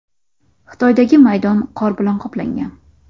Xitoydagi maydon qor bilan qoplangan.